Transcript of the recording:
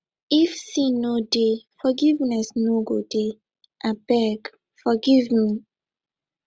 if sin no deyforgiveness no go deyabeggg forgive me